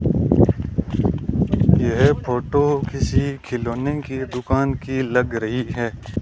यह फोटो किसी खिलौने की दुकान की लग रही है।